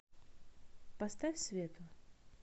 поставь свету